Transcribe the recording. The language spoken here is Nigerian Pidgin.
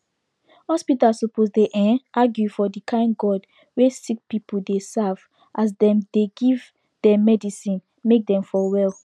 hospitas suppos dey ehnn argue for the kain god wey sicki pple dey serve as dem dey give dem medicine make dem for well